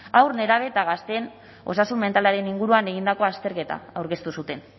haur nerabe eta gazteen osasun mentalaren inguruan egindako azterketa aurkeztu zuten